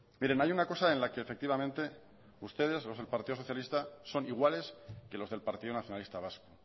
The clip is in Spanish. miren hay una cosa en la que efectivamente ustedes los del partido socialista son iguales que los del partido nacionalista vasco